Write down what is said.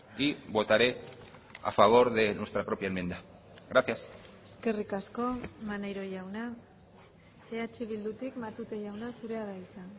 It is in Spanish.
y votaré a favor de nuestra propia enmienda gracias eskerrik asko maneiro jauna eh bildutik matute jauna zurea da hitza